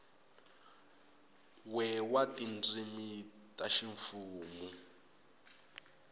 we wa tindzimi ta ximfumu